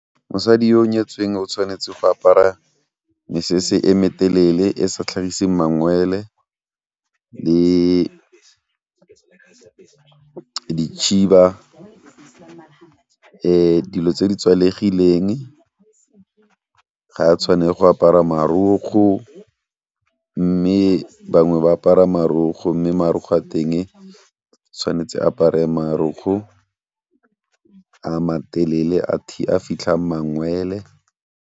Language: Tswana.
Mosadi yo o nyetsweng o tshwanetse go apara mesese e me telele e sa tlhagiseng mangwele le dikgiba, dilo tse di tswalegileng, ga a tshwane go apara marokgo, mme bangwe ba apara marokgo mme marokgo a teng tshwanetse apare marokgo a matelele a fitlhang mangwele.